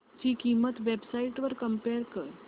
ची किंमत websites वर कम्पेअर कर